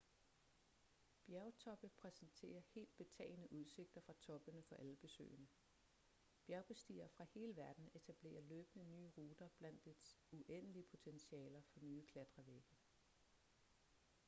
bjergtoppe præsenterer helt betagende udsigter fra toppene for alle besøgende bjergbestigere fra hele verden etablerer løbende nye ruter blandt dets uendelige potentialer for nye klatrevægge